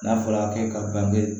N'a fɔra k'e ka bange